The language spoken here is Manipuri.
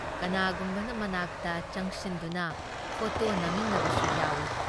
ꯀꯅꯥꯒꯨꯝꯕꯅ ꯃꯅꯥꯛꯇ ꯆꯡꯁꯤꯟꯗꯨꯅ ꯐꯣꯇꯣ ꯅꯝꯃꯤꯟꯅꯕꯁꯨ ꯌꯥꯎꯏ ꯫